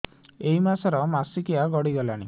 ଏଇ ମାସ ର ମାସିକିଆ ଗଡି ଗଲାଣି